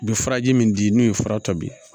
U bɛ faraji min di n'o ye fara tɔ bi